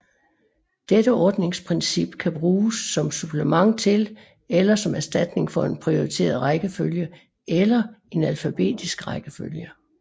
Dette ordningsprincip kan bruges som supplement til eller som erstatning for en prioriteret rækkefølge eller en alfabetisk rækkefølge